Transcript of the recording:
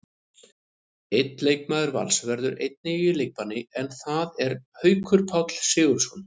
Einn leikmaður Vals verður einnig í leikbanni, en það er Haukur Páll Sigurðsson.